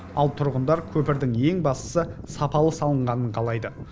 ал тұрғындар көпірдің ең бастысы сапалы салынғанын қалайды